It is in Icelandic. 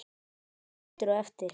Honum leið betur á eftir.